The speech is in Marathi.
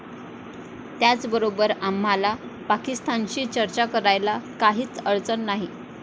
त्याचबरोबर आम्हाला पाकिस्तानशी चर्चा करायला काहीच अडचण नाही.